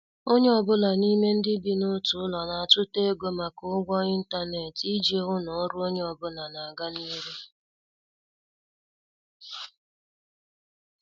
Onye ọ bụla n'ime ndị bi n' otu ụlọ na- atuta ego maka ụgwọ intanet iji hụ na ọrụ onye ọ bụla n' aga n' ihu.